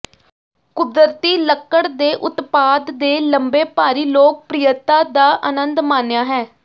ਕੁਦਰਤੀ ਲੱਕੜ ਦੇ ਉਤਪਾਦ ਦੇ ਲੰਬੇ ਭਾਰੀ ਲੋਕਪ੍ਰਿਅਤਾ ਦਾ ਆਨੰਦ ਮਾਣਿਆ ਹੈ